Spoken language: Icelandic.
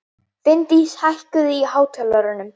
Finndís, hækkaðu í hátalaranum.